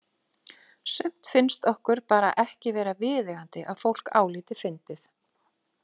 Sumt finnst okkur bara ekki vera viðeigandi að fólk álíti fyndið.